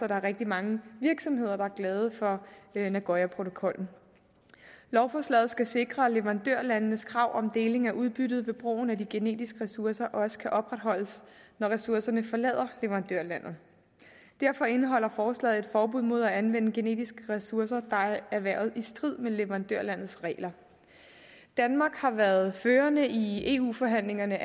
der er rigtig mange virksomheder der er glade for nagoyaprotokollen lovforslaget skal sikre at leverandørlandenes krav om deling af udbyttet ved brugen af de genetiske ressourcer også kan opretholdes når ressourcerne forlader leverandørlandet derfor indeholder forslaget et forbud mod at anvende genetiske ressourcer der er erhvervet i strid med leverandørlandets regler danmark har været førende i eu forhandlingerne